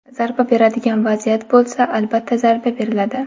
Zarba beradigan vaziyat bo‘lsa, albatta zarba beriladi.